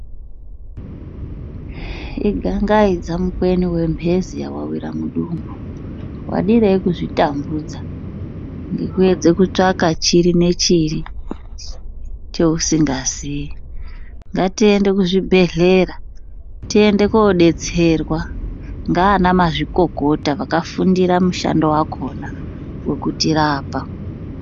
Igangaidza mukweni wemphezi yawawira mudumbu. Wadirei kuzvitambudza ngekuedze kutsvaka chiri nechiri cheusingazii?. Ngatiende kuzvibhedhlera, tiende koodetserwa ngaanamazvikokota vakafundira mushando wakhona wekutirapa.